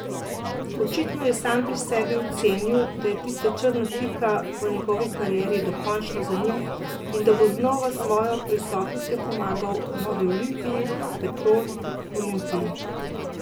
Očitno je sam pri sebi ocenil, da je tista črna pika v njegovi karieri dokončno za njim in da bo znova s svojo prisotnostjo pomagal novi Olimpiji, Petrol Olimpiji.